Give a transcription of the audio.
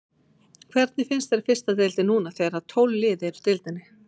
Hvernig finnst þér fyrsta deildin núna þegar að tólf lið eru í deildinni?